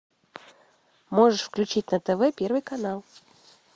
можешь включить на тв первый канал